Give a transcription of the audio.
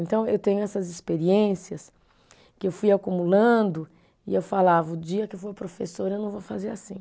Então, eu tenho essas experiências que eu fui acumulando e eu falava, o dia que eu for professora, eu não vou fazer assim.